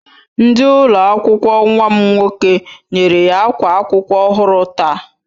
Ndi ụlọ akwụkwọ nwam nwoke nyere ya akwa akwụkwọ ọhụrụ taa